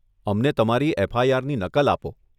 અમને તમારી એફઆઈઆરની નકલ આપો.